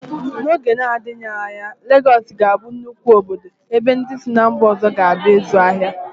N'oge na-adịghị anya, Legọọsị ga-abụ nnukwu obodo ebe ndị si ná mba ọzọ ga-abịa ịzụ ahịa.